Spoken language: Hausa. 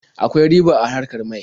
Akwai riba a harkar mai.